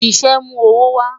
Ṣiṣẹ mu owo wa